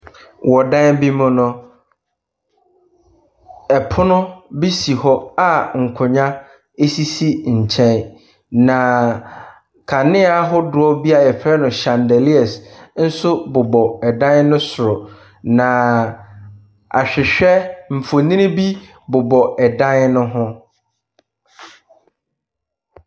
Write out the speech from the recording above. Wɔ dan bi mu no, pono bi si hɔ a nkonnwa sisi nkyɛn, na kanea ahodoɔ bi a yɛfrɛ no chandalias nso bobɔ dan no soro, na ahwehwɛ mfonin bi bobɔ dan no ho.